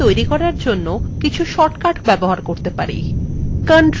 আমরা বস্তুর copies তৈরী করার জন্য কিছু shortcut ব্যবহার করতে পারি